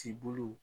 Ci bolo